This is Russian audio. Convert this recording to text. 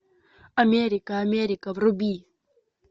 америка америка вруби